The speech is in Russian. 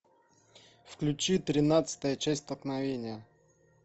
включи тринадцатая часть столкновение